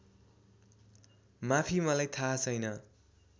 माफी मलाई थाहा छैन